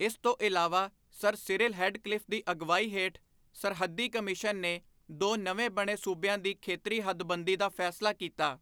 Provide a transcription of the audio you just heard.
ਇਸ ਤੋਂ ਇਲਾਵਾ, ਸਰ ਸਿਰਿਲ ਰੈਡਕਲਿਫ਼ ਦੀ ਅਗਵਾਈ ਹੇਠ ਸਰਹੱਦੀ ਕਮਿਸ਼ਨ ਨੇ ਦੋ ਨਵੇਂ ਬਣੇ ਸੂਬਿਆਂ ਦੀ ਖੇਤਰੀ ਹੱਦਬੰਦੀ ਦਾ ਫੈਸਲਾ ਕੀਤਾ।